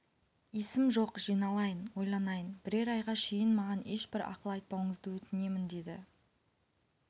есім жоқ жиналайын ойланайын бірер айға шейін маған ешбір ақыл айтпауыңызды өтінем деді